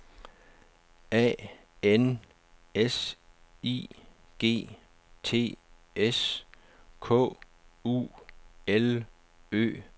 A N S I G T S K U L Ø R